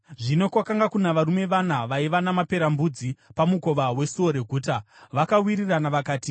Zvino kwakanga kuna varume vana vaiva namaperembudzi pamukova wesuo reguta. Vakawirirana vakati,